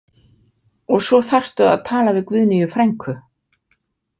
Og svo þarftu að tala við Guðnýju frænku.